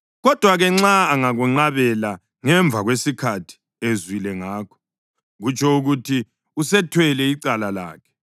Kodwa-ke, nxa angakwenqabela ngemva kwesikhathi ezwile ngakho, kutsho ukuthi usethwele icala lakhe.”